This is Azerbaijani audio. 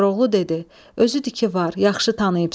Koroğlu dedi: Özüdür ki var, yaxşı tanıyıbsan.